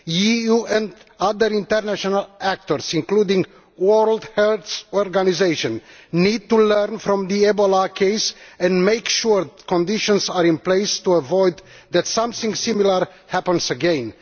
The EU and other international actors, including the World Health Organisation, need to learn from the Ebola case and make sure that conditions are in place to avoid something similar happening again.